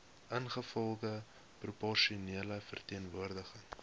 ingevolge proporsionele verteenwoordiging